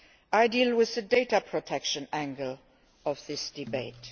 I deal with the data protection angle of this debate.